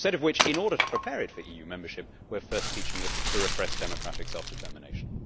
Instead of which, in order to prepare it for EU membership, we are first teaching it to repress democratic self determination.